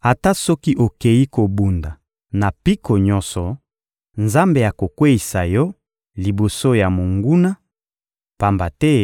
Ata soki okeyi kobunda na mpiko nyonso, Nzambe akokweyisa yo liboso ya monguna, pamba te